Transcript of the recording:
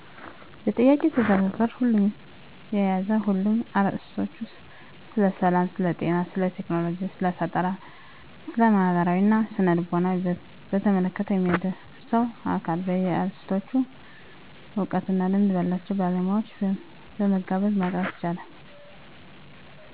በጥያቄው የተዘረዘሩት ሁሉንም የያዘ ሁኖ አርዕሰቶቹ ስለሰላም፣ ስለጤና፣ ስለቴክኖሎጂ፣ ስለፈጠራ፣ ስለማህበራዊና ስነ-ልቦና በተመለከተ የሚያደርሰው አካል በየአርዕስቶቹ እውቀትና ልምድ ባላቸው ባለሙያዎችን በመጋበዝ ማቅረብ ይቻላል።